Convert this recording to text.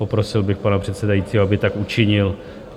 Poprosil bych pana předsedajícího, aby tak učinil.